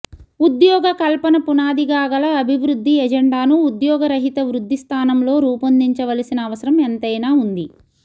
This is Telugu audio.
ఉద్యోగ కల్పన పునాదిగా గల అభివృద్ది ఎజెండాను ఉద్యోగ రహిత వృద్ధి స్థానంలో రూపొందించవలసిన అవసరం ఎంతై నా ఉంది